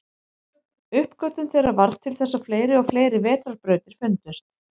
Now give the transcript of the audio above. Uppgötvun þeirra varð til þess að fleiri og fleiri vetrarbrautir fundust.